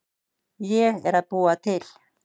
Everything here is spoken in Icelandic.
Ég er að búa til.